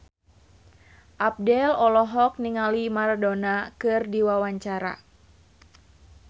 Abdel olohok ningali Maradona keur diwawancara